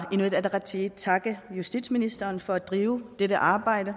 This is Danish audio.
inuit ataqatigiit takke justitsministeren for at drive dette arbejde